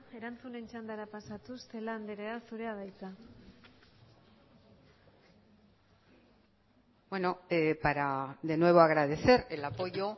erantzunen txandara pasatuz celaá andrea zurea da hitza bueno para de nuevo agradecer el apoyo